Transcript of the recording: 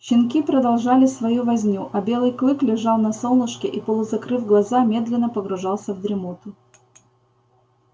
щенки продолжали свою возню а белый клык лежал на солнышке и полузакрыв глаза медленно погружался в дремоту